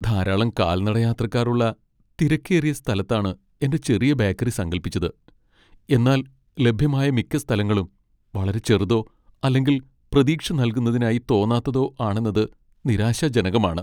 ധാരാളം കാൽനടയാത്രക്കാരുള്ള തിരക്കേറിയ സ്ഥലത്താണ് എന്റെ ചെറിയ ബേക്കറി സങ്കൽപ്പിച്ചത്, എന്നാൽ ലഭ്യമായ മിക്ക സ്ഥലങ്ങളും വളരെ ചെറുതോ അല്ലെങ്കിൽ പ്രതീക്ഷ നൽകുന്നതായി തോന്നാത്തതോ ആണെന്നത് നിരാശാജനകമാണ്.